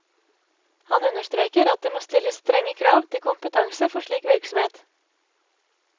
Han understreker at det må stilles strenge krav til kompetanse for slik virksomhet.